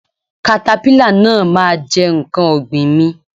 katapila náà ma jẹ nkán ọ̀gbìn mi.